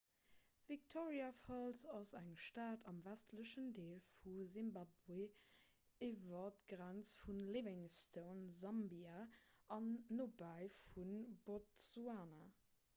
victoria falls ass eng stad am westlechen deel vu simbabwe iwwer d'grenz vu livingstone sambia an nobäi vu botsuana